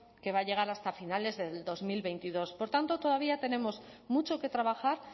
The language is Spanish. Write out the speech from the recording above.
que va a llegar hasta finales del dos mil veintidós por tanto todavía tenemos mucho que trabajar